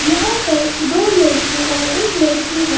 यहां पर दो लड़के और एक लड़की है।